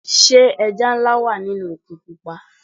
Sé ẹja nlá wà nínú òkun pupa.